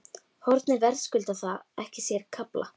Hornið verðskuldar það ekki sér kafla?